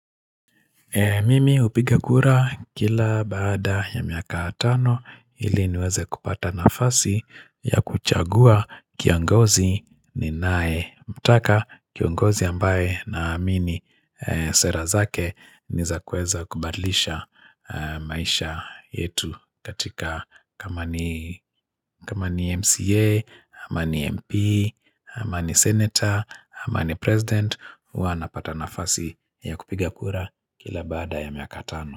Mimi hupiga kura kila baada ya miaka tano ili niweze kupata nafasi ya kuchagua kiongozi ninayemtaka kiongozi ambaye na mini sera zake ni za kuweza kubadlisha maisha yetu katika kama ni MCA, ama ni MP, ama ni Senator, ama ni President huwa napata nafasi ya kupiga kura kila baada ya miaka tano.